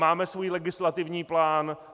Máme svůj legislativní plán.